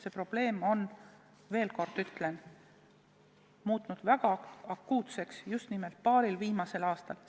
See probleem on – veel kord ütlen – muutunud väga akuutseks just nimelt paaril viimasel aastal.